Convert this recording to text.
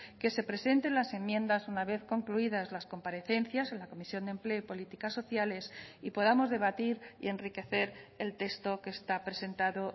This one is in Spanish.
que se presenten las enmiendas una vez concluidas las comparecencias en la comisión de empleo y políticas sociales y podamos debatir y enriquecer el texto que está presentado